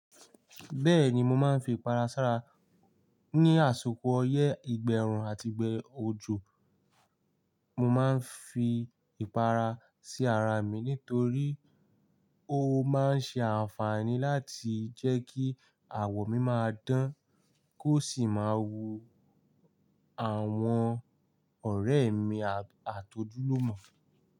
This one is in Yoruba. Bẹ́ẹ̀ni mo máa ń fi ipara sára ní àsìkò ọyẹ́, ìgbà ẹ̀rùn àti ìgbà òjò. Mo máa ń fi ipara sí ara mi nítorí ó máa ń ṣe àǹfààní láti jẹ́ kí àwọ̀ mi máa dán, kó sì máa wu àwọn ọ̀rẹ́ mi àti ojúlùmọ̀